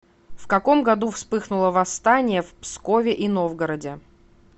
в каком году вспыхнуло восстание в пскове и новгороде